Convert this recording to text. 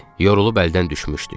Yorulub əldən düşmüşdük.